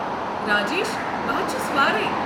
راجیش، بہٕ ہا چھُس وارے۔